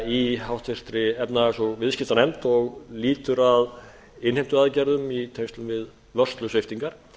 í háttvirtri efnahags og viðskiptaskiptanefnd og lýtur að innheimtuaðgerðum í tengslum við vörslusviptingar